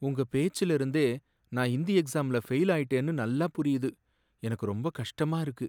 உங்க பேச்சுல இருந்தே நான் ஹிந்தி எக்ஸாம்ல ஃபெயில் ஆயிட்டேன்னு நல்லா புரியுது, எனக்கு ரொம்ப கஷ்டமா இருக்கு